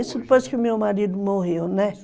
Isso depois que meu marido morreu, né?